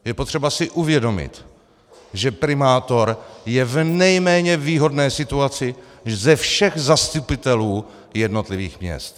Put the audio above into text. Je potřeba si uvědomit, že primátor je v nejméně výhodné situaci ze všech zastupitelů jednotlivých měst.